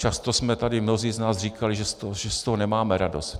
Často jsme tady mnozí z nás říkali, že z toho nemáme radost.